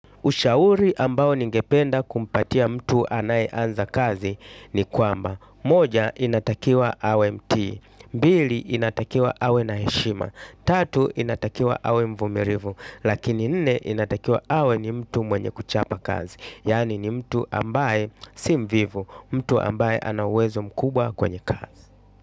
Ushauri ambao ningependa kumpatia mtu anaeanza kazi ni kwamba, moja inatakiwa awe mtii mbili inatakiwa awe na heshima, tatu inatakiwa awe mvumilivu, lakini nne inatakiwa awe ni mtu mwenye kuchapa kazi, yani ni mtu ambaye si mvivu, mtu ambaye anawezo mkubwa kwenye kazi.